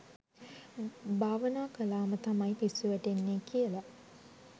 භවනා කළා ම තමයි පිස්සු වැටෙන්නේ කියලා.